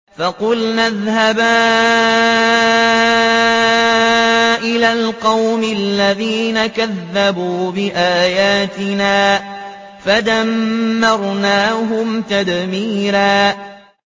فَقُلْنَا اذْهَبَا إِلَى الْقَوْمِ الَّذِينَ كَذَّبُوا بِآيَاتِنَا فَدَمَّرْنَاهُمْ تَدْمِيرًا